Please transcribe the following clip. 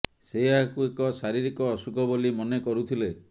ସେ ଏହାକୁ ଏକ ଶାରୀରିକ ଅସୁଖ ବୋଲି ମନେ କରୁଥିଲେ